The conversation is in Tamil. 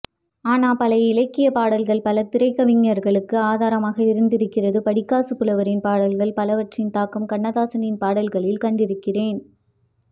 ஆனா பழைய இலக்கியபாடல்கள் பல திரைக்கவிஞர்களுக்கு ஆதாரமாக இருந்திருக்கிறது படிக்காசுப்புலவரின் பாடல்கள் பலவற்றின் தாக்கம் கண்ணதாசனின் பாடல்களில் கண்டிருக்கிறேன்